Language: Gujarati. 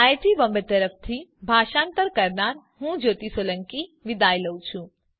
આઈઆઈટી બોમ્બે તરફથી ભાષાંતર કરનાર હું કૃપાલી પરમાર વિદાય લઉં છું